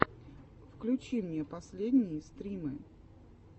включи мне последние стримы